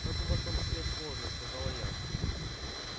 как у вас там всё сложно сказала я